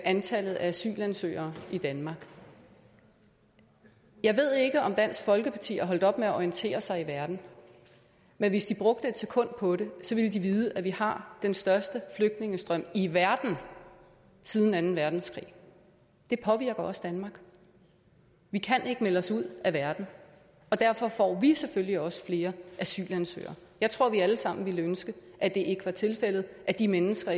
antallet af asylansøgere i danmark jeg ved ikke om dansk folkeparti er holdt op med at orientere sig i verden men hvis de brugte et sekund på det ville de vide at vi har den største flygtningestrøm i verden siden anden verdenskrig det påvirker også danmark vi kan ikke melde os ud af verden og derfor får vi selvfølgelig også flere asylansøgere jeg tror at vi alle sammen ville ønske at det ikke var tilfældet at de mennesker